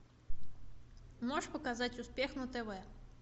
можешь показать успех на тв